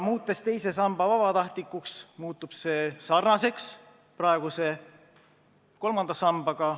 Muutes teise samba vabatahtlikuks, muutub see sarnaseks praeguse kolmanda sambaga.